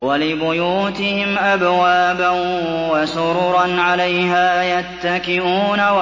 وَلِبُيُوتِهِمْ أَبْوَابًا وَسُرُرًا عَلَيْهَا يَتَّكِئُونَ